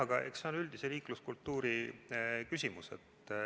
Aga eks see ole üldise liikluskultuuri küsimus.